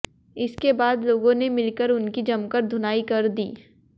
इसके बाद लोगों ने मिलकर उनकी जमकर धुनाई कर दी